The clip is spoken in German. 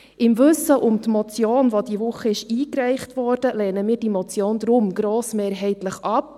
Im Wissen um die Motion die diese Woche eingereicht wurde, lehnen wir diese Motion deshalb grossmehrheitlich ab.